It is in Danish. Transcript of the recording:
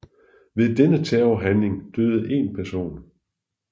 Ved denne terrorhandling døde en person